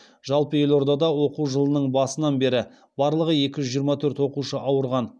жалпы елордада оқу жылының басынан бері барлығы екі жүз жиырма төрт оқушы ауырған